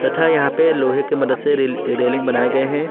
था यहां पे लोहे के मदद से रेली अ रेलिंग बनाए गए हैं।